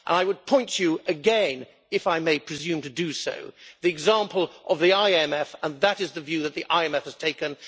I would point you again if I may presume to do so to the example of the IMF that is the view that the IMF has taken.